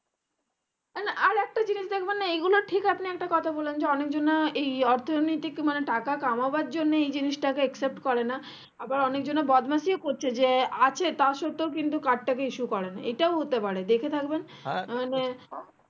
ঠিক আপনি একটা কথা বললেন যে অনেক জোনা এই অর্থনৈতিক টাকা কমানোর জন্যে এই জিনিসটাকে accept করেনা আবার অনেকজনা বদমাশি ও করছে যে আছে তার সর্তেও কিন্তু card টাকে issue করেনা এটাও হতে পারে দেখে থাকবেন মানে